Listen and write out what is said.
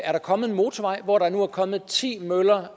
er der kommet en motorvej hvor der nu er kommet ti møller